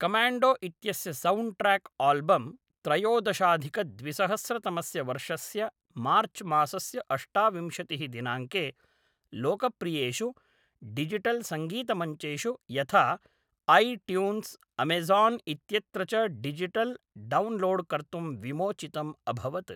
Commando इत्यस्य सौण्ड्ट्र्याक्आल्बम् त्रयोदशाधिकद्विसहस्रतमस्य वर्षस्य मार्च्मासस्य अष्टाविंशतिः दिनाङ्के लोकप्रियेषु डिजिटल्सङ्गीतमञ्चेषु यथा ऐ ट्यून्स्, अमेज़ान् इत्यत्र च डिजिटल् डौन्लोड् कर्तुं विमोचितम् अभवत्।